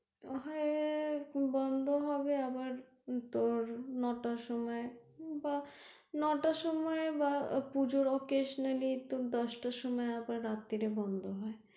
হ্যাঁ বন্ধ হবে আবার নটার সময় বা নটার সময় বা পূজোর occasionally তোর দশটার সময় আবার রাত্রে বন্ধ হয়